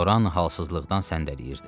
Loran halsızlıqdan səndələyirdi.